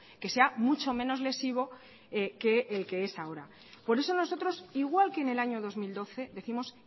que sea mucho menos lesivo que el que es ahora por eso nosotros igual que en el año dos mil doce décimos